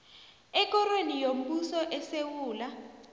ekorweni yombuso esewula